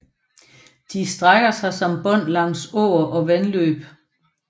De strækker sig som bånd langs åer og vandløb